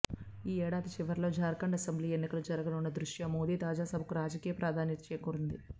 ఈ ఏడాది చివర్లో జార్ఖండ్ అసెంబ్లీ ఎన్నికలు జరగనున్న దృష్ట్యా మోదీ తాజా సభకు రాజకీయ ప్రాధాన్యత చేకూరింది